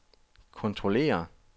kontrollere